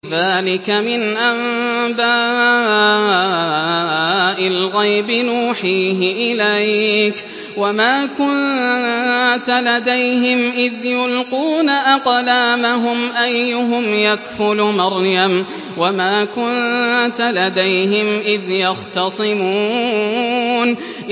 ذَٰلِكَ مِنْ أَنبَاءِ الْغَيْبِ نُوحِيهِ إِلَيْكَ ۚ وَمَا كُنتَ لَدَيْهِمْ إِذْ يُلْقُونَ أَقْلَامَهُمْ أَيُّهُمْ يَكْفُلُ مَرْيَمَ وَمَا كُنتَ لَدَيْهِمْ إِذْ يَخْتَصِمُونَ